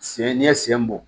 Sen n'i ye sen bɔ